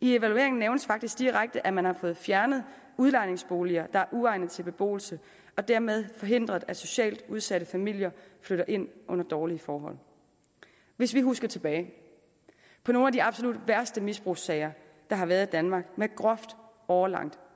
i evalueringen nævnes faktisk direkte at man har fået fjernet udlejningsboliger der er uegnet til beboelse og dermed forhindret at socialt udsatte familier flytter ind under dårlige forhold hvis vi husker tilbage på nogle af de absolut værste misbrugssager der har været i danmark med groft årelangt